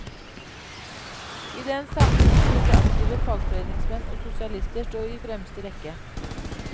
I den sammenheng burde aktive fagforeningsmenn og sosialister stå i fremste rekke.